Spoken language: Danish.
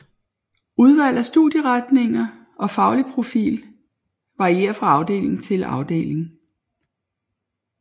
Udvalg af studieretninger og faglig profil varierer fra afdeling til afdeling